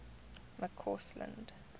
mccausland